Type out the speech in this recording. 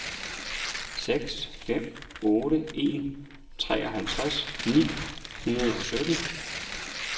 seks fem otte en treoghalvtreds ni hundrede og sytten